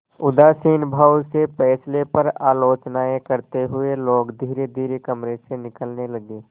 उदासीन भाव से फैसले पर आलोचनाऍं करते हुए लोग धीरेधीरे कमरे से निकलने लगे